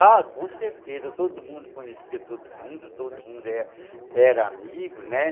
Ah, com certeza, todo mundo conhecia todo mundo, todo mundo era amigo, né.